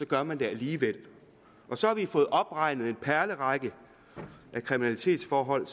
gør man det alligevel og så har vi fået opregnet en perlerække af kriminalitetsforhold